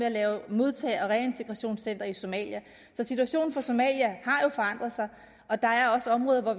at lave modtage og reintegrationscenter i somalia så situationen i somalia har jo forandret sig og der er også områder